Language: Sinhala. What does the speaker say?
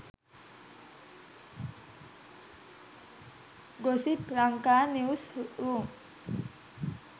gossip lanka news room